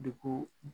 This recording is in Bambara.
Dugu